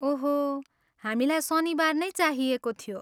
ओहो, हामीलाई शनिबार नै चाहिएको थियो।